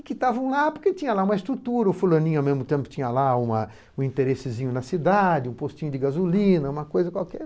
Que estavam lá porque tinha lá uma estrutura, o fulaninho ao mesmo tempo tinha lá uma um interessezinho na cidade, um postinho de gasolina, uma coisa qualquer.